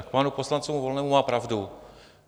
A k panu poslanci Volnému - má pravdu.